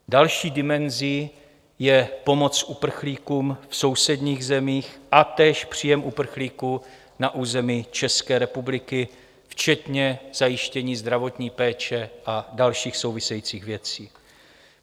Další dimenzí je pomoc uprchlíkům v sousedních zemích a též příjem uprchlíků na území České republiky, včetně zajištění zdravotní péče a dalších souvisejících věcí.